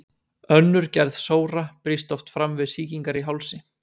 Önnur gerð sóra brýst oft fram við sýkingar í hálsi.